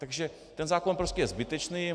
Takže ten zákon prostě je zbytečný.